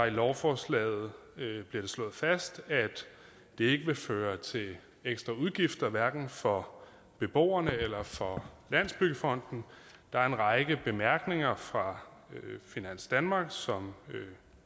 i lovforslaget bliver slået fast at det ikke vil føre til ekstra udgifter hverken for beboerne eller for landsbyggefonden der er en række bemærkninger fra finans danmark som